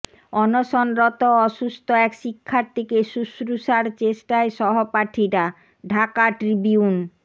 অনশনরত অসুস্থ এক শিক্ষার্থীকে শুশ্রুষার চেষ্টায় সহপাঠীরা ঢাকা ট্রিবিউন